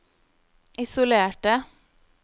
isolerte